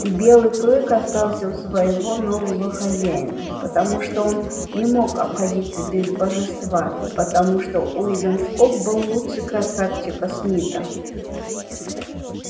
и белый клык остался у своего нового хозяина потому что он не мог обходиться без божества и потому что уидон скоп был лучше красавчика смита